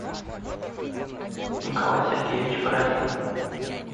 николай сергеевич бородин